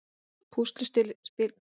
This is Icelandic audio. Púsluspilið féll vel saman